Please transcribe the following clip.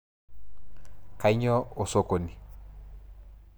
Kanyio osokoni?